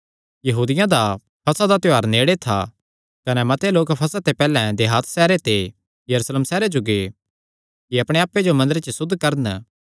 यहूदियां दा फसह दा त्योहार नेड़े था कने मते लोक फसह ते पैहल्ले देहात सैहरे ते यरूशलेम सैहरे जो गै कि अपणे आप्पे जो मंदरे च सुद्ध करन